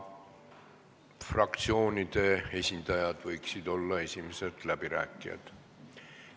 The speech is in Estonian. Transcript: Fraktsioonide esindajad võiksid olla esimesed läbirääkijad.